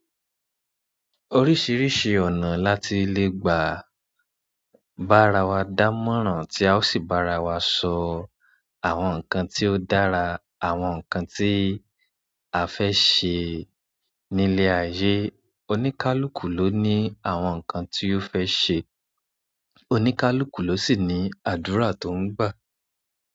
Oríṣìíríṣìí ọ̀nà láti le gbà bá ara wa dámọ̀ràn tí a ó sì bá ara wa sọ àwọn nǹkan tí ó dára, àwọn nǹkan tí a fẹ́ ṣe nílé ayé. Oníkálùkù ló ní àwọn nǹkan tí ó fẹ́ ṣe, oníkálùkù ló sì ní àdúrà tó ń gbà.